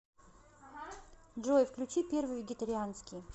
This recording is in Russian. джой включи первый вегетарианский